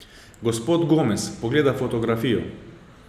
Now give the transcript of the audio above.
Gospod Gomez pogleda fotografijo.